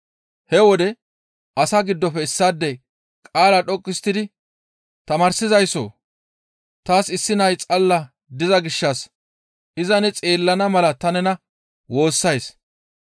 He wode asaa giddofe issaadey qaala dhoqqu histtidi «Tamaarsizayssoo! Taas issi nay xalla diza gishshas iza ne xeellana mala ta nena woossays.